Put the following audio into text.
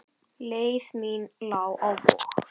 Leið mín lá á Vog.